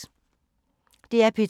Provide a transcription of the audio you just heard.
DR P2